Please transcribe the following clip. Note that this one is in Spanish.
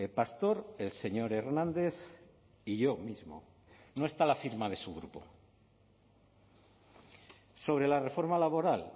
pastor el señor hernández y yo mismo no está la firma de su grupo sobre la reforma laboral